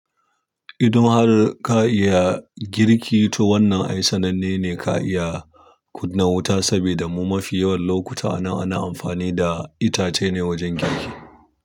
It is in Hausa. Idan kuma har ka iya girki, to wannan ai sananne ne ka iya kunna wuta, sabida mu mafi yawan lokuta ana amfani da itace ne wajen girki.